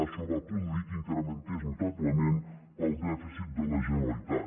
això va produir que s’incrementés notablement el dèficit de la generalitat